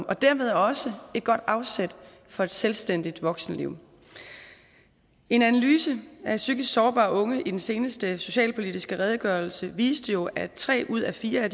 og dermed også et godt afsæt for et selvstændigt voksenliv en analyse af psykisk sårbare unge i den seneste socialpolitiske redegørelse viste jo at tre ud af fire